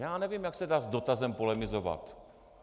Já nevím, jak se dá s dotazem polemizovat.